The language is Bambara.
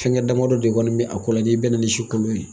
Fɛngɛ damadɔ de kɔni bɛ a kɔ la n'i bɛnna si kolon ye